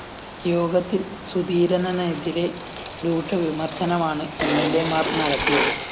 യോഗത്തില്‍ സുധീരനനെതിരെ രൂക്ഷ വിമര്‍ശനമാണ് എംഎല്‍എമാര്‍ നടത്തിയത്